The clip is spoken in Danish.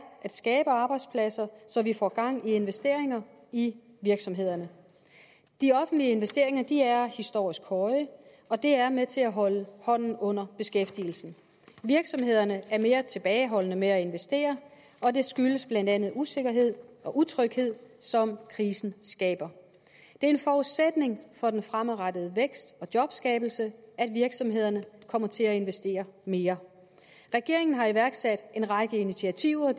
at skabe arbejdspladser så vi får gang i investeringer i virksomhederne de offentlige investeringer er historisk høje og det er med til holde hånden under beskæftigelsen virksomhederne er mere tilbageholdende med at investere og det skyldes blandt andet den usikkerhed og utryghed som krisen skaber det er en forudsætning for den fremadrettede vækst og jobskabelse at virksomhederne kommer til at investere mere regeringen har iværksat en række initiativer